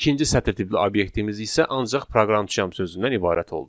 İkinci sətir tipli obyektimiz isə ancaq proqramçıyam sözündən ibarət oldu.